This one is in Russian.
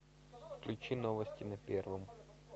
включи новости на первом